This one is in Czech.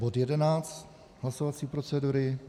Bod 11 hlasovací procedury.